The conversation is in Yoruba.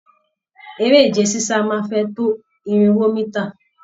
Eré ìje sisa máa n fẹ tó irinwó mítà.